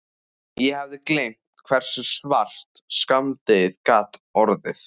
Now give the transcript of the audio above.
Ég hafði gleymt hversu svart skammdegið gat orðið.